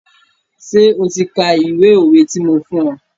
Ṣé o ti ka ìwé òwe ti mo fún ọ?